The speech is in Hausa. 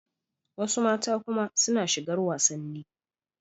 Wasu mata kuma suna shigar wasanni.